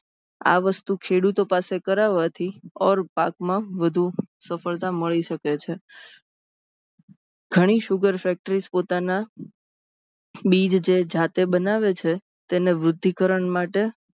આ વસ્તુ ખેડૂતો પાસે કરાવાથી ઔર પાકમાં વધુ સફળતા મળી સકે છે ગણી sugar factory જે બીજ પોતાના જે જાતે બનાવે છે. તેમાં વૃધ્ધિકરણ માટે